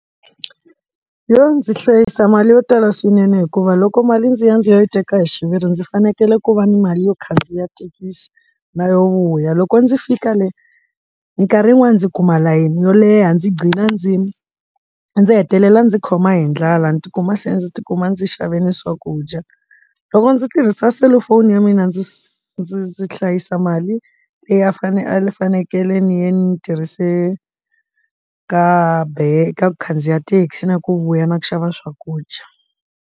Yoh ndzi hlayisa mali yo tala swinene hikuva loko mali ndzi ya ndzi ya yi teka hi xiviri ndzi fanekele ku va ni mali yo khandziya thekisi na yo vuya loko ndzi fika le minkarhi yin'wani ndzi kuma layeni yo leha ndzi gcina ndzimi ndzi hetelela ndzi khoma hi ndlala ni tikuma se ndzi tikuma ndzi xave ni swakudya loko ndzi tirhisa selufoni ya mina ndzi se ndzi ndzi hlayisa mali leyi a fanele a le fanekele ni ya ni tirhise ka ban ka ku khandziya thekisi na ku vuya na ku xava swakudya.